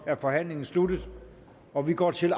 er forhandlingen sluttet og vi går til